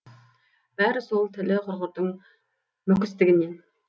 бәрі сол тілі құрғырдың мүкістігінен